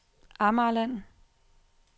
Amagerland